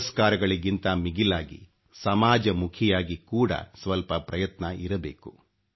ಪುರಸ್ಕಾರಗಳಿಗಿಂತ ಮಿಗಿಲಾಗಿ ಸಮಾಜಮುಖಿಯಾಗಿ ಕೂಡ ಸ್ವಲ್ಪ ಪ್ರಯತ್ನ ಇರಬೇಕು